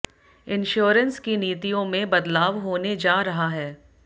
insurance की नीतियों में बदलाव होने जा रहा है